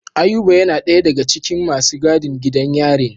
Ayuba yana daya daga cikin masu gadin gidan yarin.